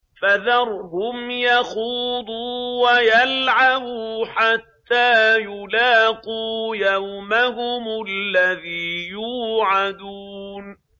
فَذَرْهُمْ يَخُوضُوا وَيَلْعَبُوا حَتَّىٰ يُلَاقُوا يَوْمَهُمُ الَّذِي يُوعَدُونَ